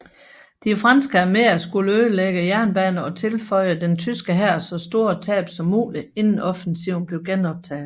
De franske arméer skulle ødelægge jernbaner og tilføje den tyske hær så store tab som muligt inden offensiven blev genoptaget